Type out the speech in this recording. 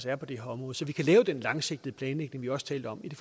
er på det her område så vi kan lave den langsigtede planlægning vi også talte om ved det